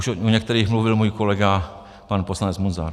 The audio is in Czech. Už o některých mluvil můj kolega pan poslanec Munzar.